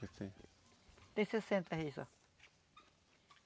Tem sessenta aí só.